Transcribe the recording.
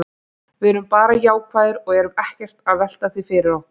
Við erum bara jákvæðir og erum ekkert að velta því fyrir okkur.